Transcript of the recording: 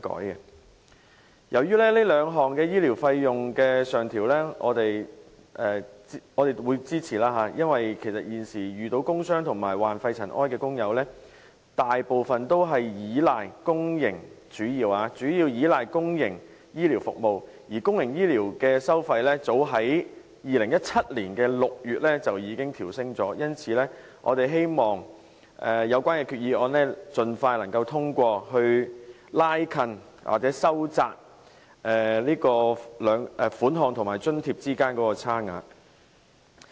對於該兩項醫療費用的上調，我們表示支持，因為現時遇到工傷及患肺塵埃沉着病的工友，大部分均主要依賴公營醫療服務，而公營醫療服務的收費，早在2017年6月調升了，因此我們希望有關決議案能夠盡快通過，以收窄有關收費和津貼之間的差距。